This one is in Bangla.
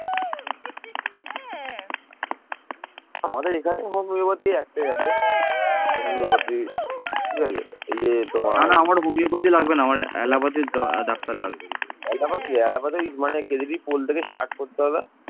এই সময় মরক্কোর বিখ্যাত পর্যটক ইবন বতুতা বাংলায় ভ্রমণ করেন